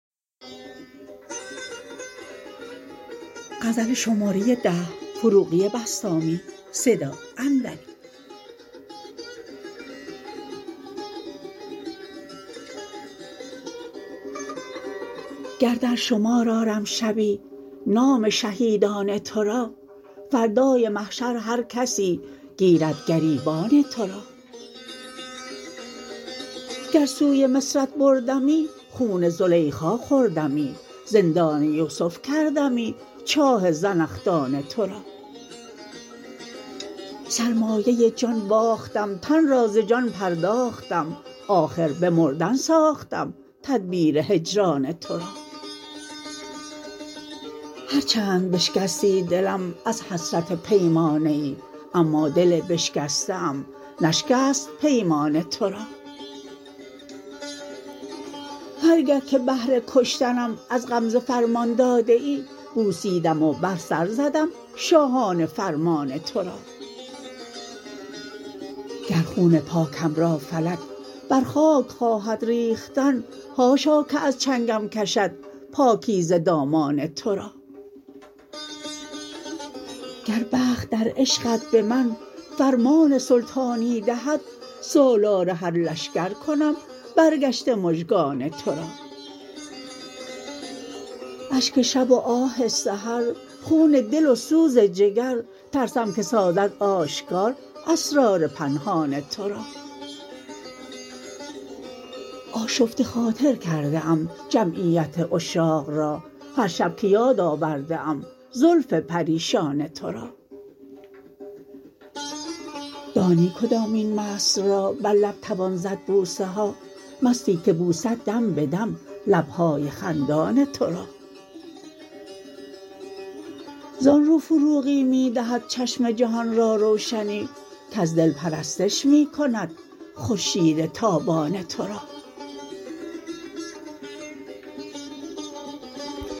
گر در شمار آرم شبی نام شهیدان تو را فردای محشر هر کسی گیرد گریبان تو را گر سوی مصرت بردمی خون زلیخا خوردمی زندان یوسف کردمی چاه زنخدان تو را سرمایه جان باختم تن را ز جان پرداختم آخر به مردن ساختم تدبیر هجران تو را هر چند بشکستی دلم از حسرت پیمانه ای اما دل بشکسته ام نشکست پیمان تو را هر گه که بهر کشتنم از غمزه فرمان داده ای بوسیدم و بر سر زدم شاهانه فرمان تو را گر خون پاکم را فلک بر خاک خواهد ریختن حاشا که از چنگم کشد پاکیزه دامان تو را گر بخت در عشقت به من فرمان سلطانی دهد سالار هر لشگر کنم برگشته مژگان تو را اشک شب و آه سحر خون دل و سوز جگر ترسم که سازد آشکار اسرار پنهان تو را آشفته خاطر کرده ام جمعیت عشاق را هر شب که یاد آورده ام زلف پریشان تو را دانی کدامین مست را بر لب توان زد بوسه ها مستی که بوسد دم به دم لبهای خندان تو را زان رو فروغی می دهد چشم جهان را روشنی کز دل پرستش می کند خورشید تابان تو را